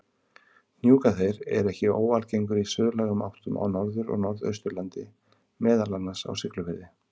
Hnjúkaþeyr er ekki óalgengur í suðlægum áttum á Norður- og Norðausturlandi, meðal annars á Siglufirði.